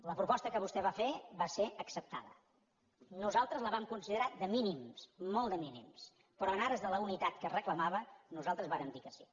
la proposta que vostè va fer va ser acceptada nosaltres la vam considerar de mínims molt de mínims però en ares de la unitat que reclamava nosaltres vàrem dir que sí